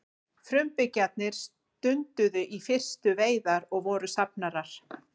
frumbyggjarnir stunduðu í fyrstu veiðar og voru safnarar